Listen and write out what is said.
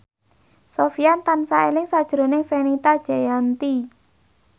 Sofyan tansah eling sakjroning Fenita Jayanti